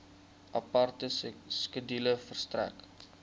aparte skedule verstrek